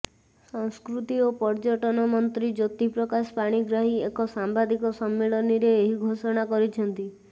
ସଂସ୍କୃତି ଓ ପର୍ୟ୍ୟଟନ ମନ୍ତ୍ରୀ ଜ୍ୟୋତିପ୍ରକାଶ ପାଣିଗ୍ରାହୀ ଏକ ସାମ୍ବାଦିକ ସମ୍ମିଳନୀରେ ଏହି ଘୋଷଣା କରିଛନ୍ତି